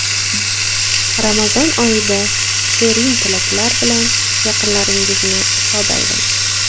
Ramazon oyida #SherinTilaklar bilan yaqinlaringizni shod aylang.